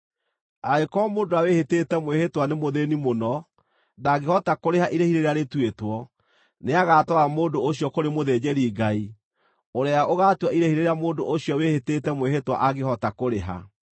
Angĩkorwo mũndũ ũrĩa wĩhĩtĩte mwĩhĩtwa nĩ mũthĩĩni mũno ndaangĩhota kũrĩha irĩhi rĩrĩa rĩtuĩtwo, nĩagatwara mũndũ ũcio kũrĩ mũthĩnjĩri-Ngai, ũrĩa ũgaatua irĩhi rĩrĩa mũndũ ũcio wĩhĩtĩte mwĩhĩtwa angĩhota kũrĩha.